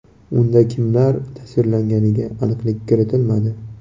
Unda kimlar tasvirlanganiga aniqlik kiritilmadi.